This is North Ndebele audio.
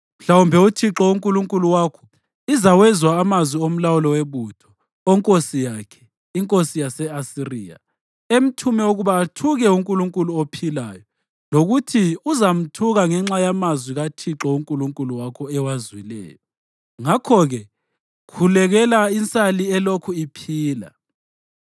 Mhlawumbe uThixo uNkulunkulu wakho izawezwa amazwi omlawuli webutho, onkosi yakhe, inkosi yase-Asiriya, emthume ukuba athuke uNkulunkulu ophilayo, lokuthi uzamthuka ngenxa yamazwi uThixo uNkulunkulu wakho ewazwileyo. Ngakho-ke khulekela insali elokhu iphila.”